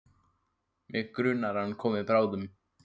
Mig grunar að hann komi bráðum.